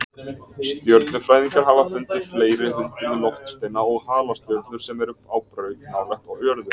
Stjörnufræðingar hafa fundið fleiri hundruð loftsteina og halastjörnur sem eru á braut nálægt jörðu.